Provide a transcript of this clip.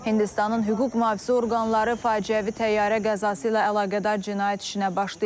Hindistanın hüquq mühafizə orqanları faciəvi təyyarə qəzası ilə əlaqədar cinayət işinə başlayıb.